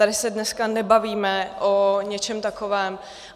Tady se dneska nebavíme o něčem takovém.